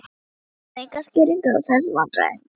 Gaf enga skýringu á þessum vandræðagangi.